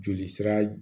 Joli sira